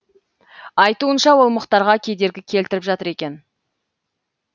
айтуынша ол мұхтарға кедергі келтіріп жатыр екен